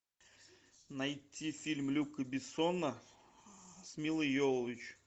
найти фильм люка бессона с милой йовович